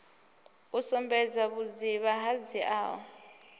u sumbedza vhudzivha ho dziaho